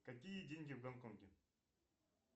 какие деньги в гонконге